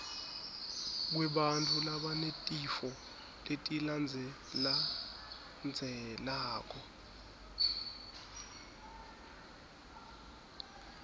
kwebantfu labanetifo letilandzelandzelako